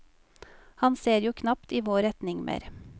Han ser jo knapt i vår retning mer.